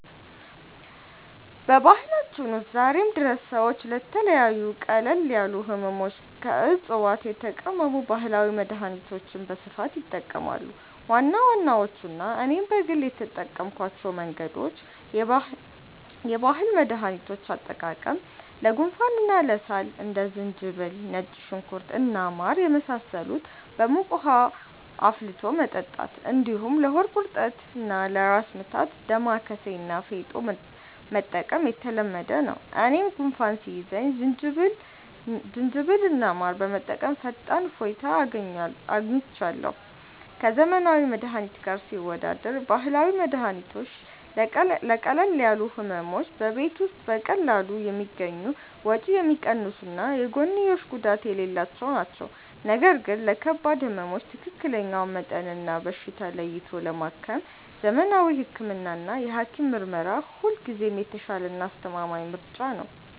በባህላችን ውስጥ ዛሬም ድረስ ሰዎች ለተለያዩ ቀለል ያሉ ሕመሞች ከዕፅዋት የተቀመሙ ባህላዊ መድኃኒቶችን በስፋት ይጠቀማሉ። ዋና ዋናዎቹና እኔም በግል የተጠቀምኩባቸው መንገዶች፦ የባህል መድኃኒቶች አጠቃቀም፦ ለጉንፋንና ለሳል እንደ ዝንጅብል፣ ነጭ ሽንኩርት እና ማር የመሳሰሉትን በሙቅ ውኃ አፍልቶ መጠጣት፣ እንዲሁም ለሆድ ቁርጠትና ለራስ ምታት «ዳማከሴ» እና «ፌጦ» መጠቀም የተለመደ ነው። እኔም ጉንፋን ሲይዘኝ ዝንጅብልና ማር በመጠቀም ፈጣን እፎይታ አግኝቻለሁ። ከዘመናዊ መድኃኒት ጋር ሲወዳደር፦ ባህላዊ መድኃኒቶች ለቀለል ያሉ ሕመሞች በቤት ውስጥ በቀላሉ የሚገኙ፣ ወጪ የሚቀንሱና የጎንዮሽ ጉዳት የሌላቸው ናቸው። ነገር ግን ለከባድ ሕመሞች ትክክለኛውን መጠንና በሽታ ለይቶ ለማከም ዘመናዊ ሕክምናና የሐኪም ምርመራ ሁልጊዜም የተሻለና አስተማማኝ ምርጫ ነው።